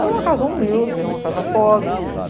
Era uma casa humilde, era uma casa pobre.